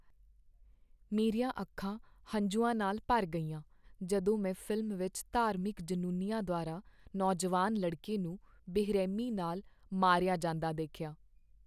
ਮੇਰੀਆਂ ਅੱਖਾਂ ਹੰਝੂਆਂ ਨਾਲ ਭਰ ਗਈਆਂ ਜਦੋਂ ਮੈਂ ਫ਼ਿਲਮ ਵਿੱਚ ਧਾਰਮਿਕ ਜਨੂੰਨੀਆਂ ਦੁਆਰਾ ਨੌਜਵਾਨ ਲੜਕੇ ਨੂੰ ਬੇਰਹਿਮੀ ਨਾਲ ਮਾਰਿਆ ਜਾਂਦਾ ਦੇਖਿਆ।